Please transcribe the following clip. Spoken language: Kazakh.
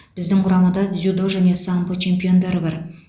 біздің құрамада дзюдо және самбо чемпиондары бар